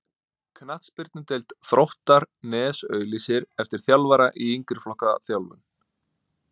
Knattspyrnudeild Þróttar Nes auglýsir eftir þjálfara í yngri flokka þjálfun.